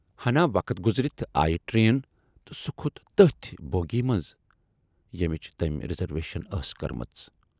ہنا وَق گُزرِتھ آیہِ ٹرین تہٕ سُہ کھوت تمٔۍ بوگی منز ییمِچ تمٔۍ رِزرویشن ٲس کٔرمٕژ۔